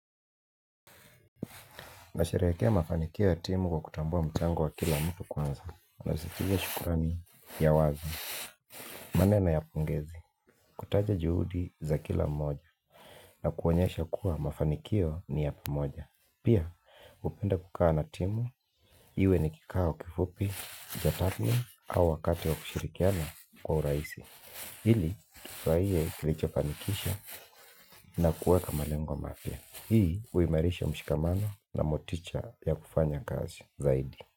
Na sherekea mafanikio ya timu kwa kutambua mchango wa kila mtu kwanza. Na zikia shukurani ya wazi. Maneno ya pongezi. Kutaja juhudi za kila mmoja. Na kuonyesha kuwa mafanikio ni ya pamoja. Pia hupenda kukaa na timu. Iwe nikikao kifupi, jatatni au wakati wa kushirikiana kwa uraisi. Ili, tufuraie tulichofanikisha na kuweka malengwa mapya. Hii, uimarisha mshikamano na moticha ya kufanya kazi. Zaidi.